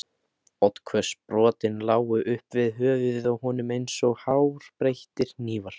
Oddhvöss brotin lágu upp við höfuðið á honum eins og hárbeittir hnífar.